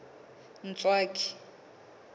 ntswaki